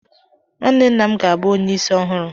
Nwanne nna m ga-abụ onye isi ọhụrụ.